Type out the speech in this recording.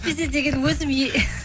әйтпесе деген өзім